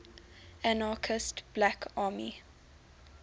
anarchist black army